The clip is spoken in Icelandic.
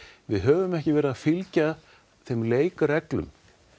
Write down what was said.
við höfum ekki verið að fylgja þeim leikreglum